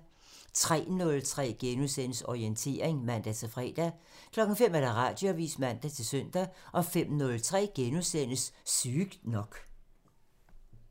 03:03: Orientering *(man-fre) 05:00: Radioavisen (man-søn) 05:03: Sygt nok *(man)